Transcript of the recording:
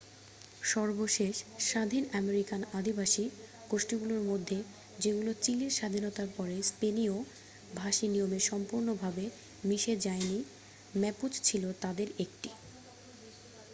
সর্বশেষ স্বাধীন আমেরিকান আদিবাসী গোষ্ঠীগুলির মধ্যে যেগুলো চিলির স্বাধীনতার পরে স্পেনীয় ভাষী নিয়মে সম্পূর্ণভাবে মিশে যায়নি ম্যাপুচ ছিল তাদের একটি